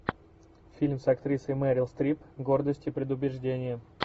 фильм с актрисой мерил стрип гордость и предубеждение